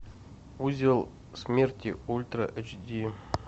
узел смерти ультра эйч ди